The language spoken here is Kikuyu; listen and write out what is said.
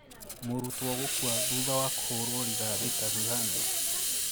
Mũrutwo gũkuathutha wa kũhũrũo rithathi Tanzania